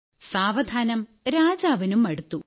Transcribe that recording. സാവധാനം രാജാവിനും മടുത്തു